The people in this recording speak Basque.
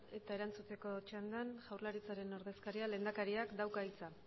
eta erantzuteko txandan jaurlaritzaren ordezkariak lehendakariak dauka hitza